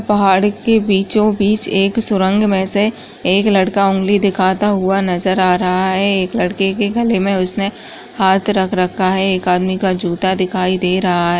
पहाड़ के बीचों बीच एक सुरंग में से एक लड़का उंगली दिखाता हुआ नजर आ रहा है एक लड़के के गले में उसने हाथ रख रखा है एक आदमी का जूता दिखाई दे रहा हैं ।